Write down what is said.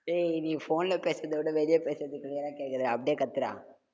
டேய், நீ phone ல பேசுறதை விட, வெளிய பேசுறது clear ஆ கேட்குதுடா அப்படியே கத்துடா